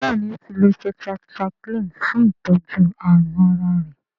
béèni o tí lọ tetracycline fún itọjú àrùn àrà rẹ.